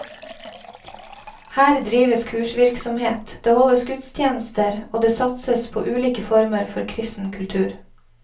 Her drives kursvirksomhet, det holdes gudstjenester og det satses på ulike former for kristen kultur.